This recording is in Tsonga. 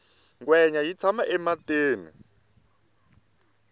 ngwenya yi tshama ematini